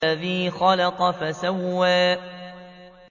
الَّذِي خَلَقَ فَسَوَّىٰ